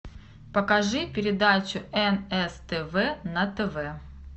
покажи передачу нс тв на тв